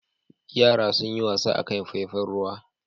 Yara sun yi wasa a kan faifan ruwa.